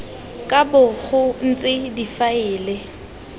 ka bo go ntse difaele